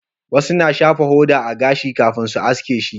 Wasu na shafa hoda a gashin kafin su haske shi